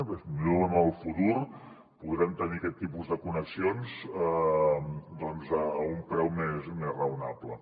potser en el futur podrem tenir aquest tipus de connexions doncs a un preu més raonable